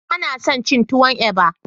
Bana son cin tuwon eba.